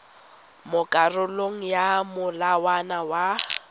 mo karolong ya molawana wa